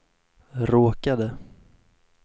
råkade